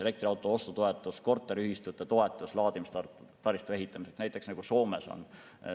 Elektriauto ostu toetus, korteriühistute toetus laadimistaristu ehitamiseks, nagu Soomes on.